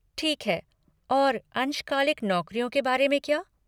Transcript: ठीक है और अंशकालिक नौकरियों के बारे में क्या?